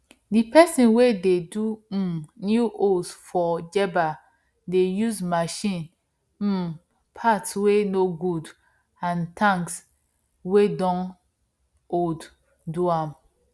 the person wey dey do um new hoes for jebba dey use machine um parts wey no good and tanks wey don old do am